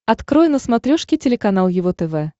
открой на смотрешке телеканал его тв